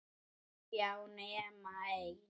Já, nema ein!